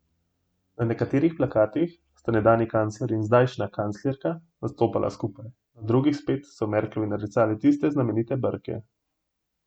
Na nekaterih plakatih sta nekdanji kancler in zdajšnja kanclerka nastopala skupaj, na drugih spet so Merklovi narisali tiste znamenite brke.